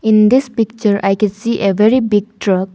In this picture I can see a very big truck.